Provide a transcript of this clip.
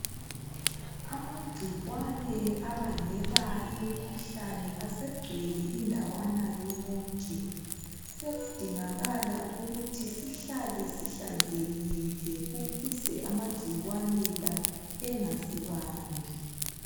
Amagcikwane abangela imikhuhlane asegcwele indawana yonke. Sekudingakala ukuthi sihlale sihlanzekile ukuze amagcikwane la engasibambi.